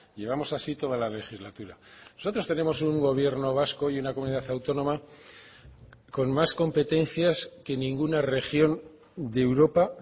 llevamos así toda la legislatura nosotros tenemos un gobierno vasco y una comunidad autónoma con más competencias que ninguna región de europa